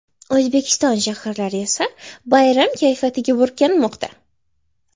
O‘zbekiston shaharlari esa bayram kayfiyatiga burkanmoqda.